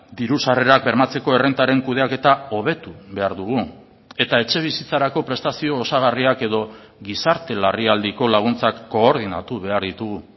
diru sarrerak bermatzeko errentaren kudeaketa hobetu behar dugu eta etxebizitzarako prestazio osagarriak edo gizarte larrialdiko laguntzak koordinatu behar ditugu